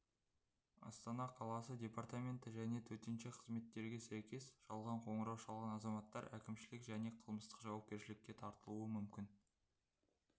астана қаласы департаменті және тк сәйкес жалған қоңырау шалған азаматтар әкімшілік және қылмыстық жауапкершілікке тартылуы мүмкін